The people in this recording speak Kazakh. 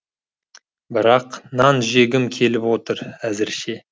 бірақ нан жегім келіп отыр әзірше